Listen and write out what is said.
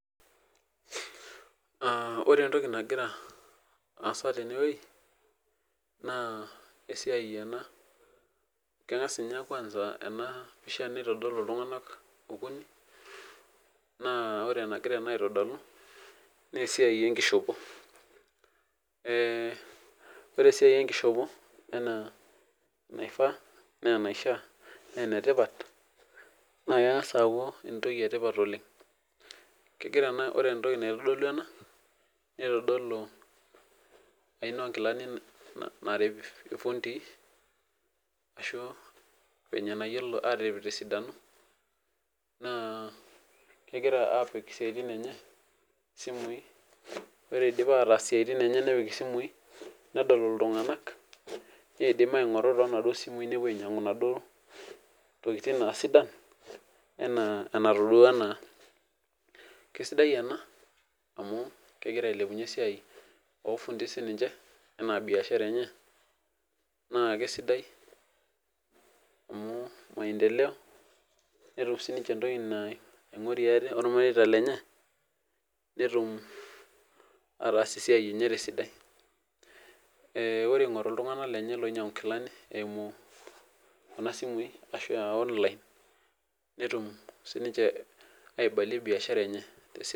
Ah ore etoki nagira aasa tene wuei naa, esiai ena kengas ninye kwanza ena pisha nitodolu iltunganak okuni naa ore enagira ena aitodolu naa esiai ekishopo. Eh ore esiai ekishopo enaa naifaa enaa enaishia naa enetipat naa kengas aaku etoki etipat oleng. Kegira ena ore etoki naitodolu ena neitodolu aina oo nkilani narip irfundii ashu, venye nayiolo atirip te sidano naa kegira apik isiatin enye simui, ore eidip ataas esiai enye nepik isimui nedol iltunganak, neidim aingoru tonaduo simui nepuo ainyiangu naaduo tokitin aa sidan enaa enatodua naa. Kesidai ena amu, kegira ailepunyie esiai orfundii sininche enaa biashara enche naa kesidai amu, maendeleo netum sininche etoki naingorie atee ormareita lenye netum ataas esiai enye tesidai . Eh ore eingoru iltunganak lenye oinyangu inkilani eimu kuna simui ashu ah online netum sininche aibalie biashara enye tesidai.